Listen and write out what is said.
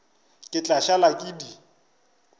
ke tla šala ke di